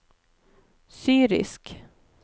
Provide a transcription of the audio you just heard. syrisk